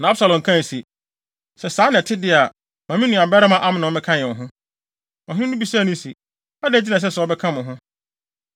Na Absalom kae se, “Sɛ saa na ɛte de a, ma me nuabarima Amnon mmɛka yɛn ho.” Ɔhene no bisaa no se, “Adɛn nti na ɛsɛ sɛ ɔbɛka mo ho?”